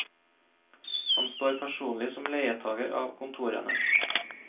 Han står personlig som leietager av kontorene.